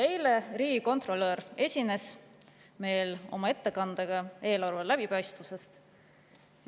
Eile esines riigikontrolör meile oma ettekandega eelarve läbipaistvusest.